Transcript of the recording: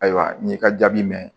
Ayiwa n'i y'i ka jaabi minɛ